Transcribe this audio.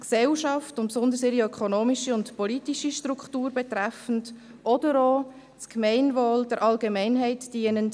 die Gesellschaft und besonders ihre ökonomische und politische Struktur betreffend, oder auch: dem Gemeinwohl, der Allgemeinheit dienend;